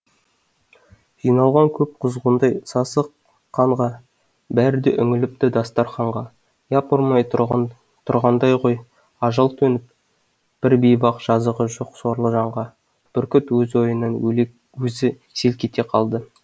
жиналған көп құзғындай сасық қанға бәрі де үңіліпті дастарқанға япырмай тұрғандай ғой ажал төніп бір бейбақ жазығы жоқ сорлы жанға бүркіт өз ойынан өзі селк ете қалды